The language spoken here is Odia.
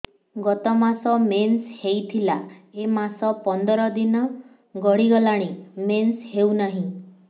ଗତ ମାସ ମେନ୍ସ ହେଇଥିଲା ଏ ମାସ ପନ୍ଦର ଦିନ ଗଡିଗଲାଣି ମେନ୍ସ ହେଉନାହିଁ